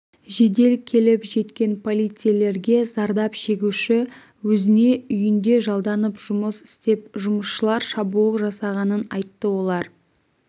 жедел келіп жеткен полицейлерге зардап шегуші өзіне үйінде жалданып жұмыс істеп жұмысшылар шабуыл жасағанын айтты олар